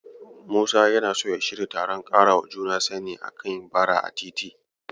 Musa yana so ya shirya taron ƙarawa juna sani a kan Bara a titi.